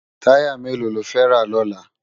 Tàyá méló ló fè rá lòlá?